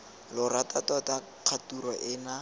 lo rata tota kgature ena